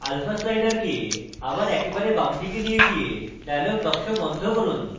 alpha slider আবার একেবারে বামদিকে নিয়ে গিয়ে dialog box বন্ধ করুন